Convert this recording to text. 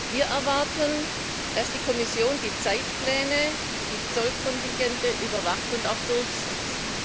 Wir erwarten, dass die Kommission die Zeitpläne und die Zollkontingente überwacht und auch durchsetzt.